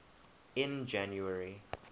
in january